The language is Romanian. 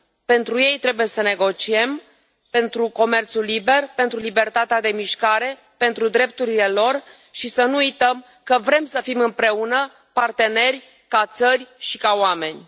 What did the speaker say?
Pentru ei trebuie să negociem pentru comerțul liber, pentru libertatea de mișcare, pentru drepturile lor și să nu uităm că vrem să fim împreună, parteneri, ca țări și ca oameni.